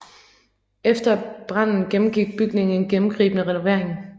Efter branden gennemgik bygningen en gennemgribende renovering